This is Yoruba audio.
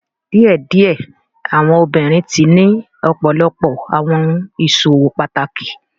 Diẹdiẹ awọn obinrin tii ni ọpọlọpọ awọn iṣowo pataki